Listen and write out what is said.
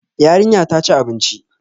Yarinya ta ci abinci.